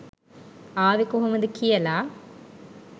ආවෙ කොහොමද කියල.